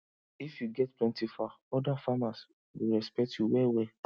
if you get plenty fowl other farmers go respect you wellwell